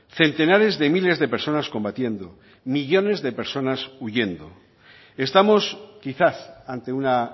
centenares de miles de personas combatiendo millónes de personas huyendo estamos quizás ante una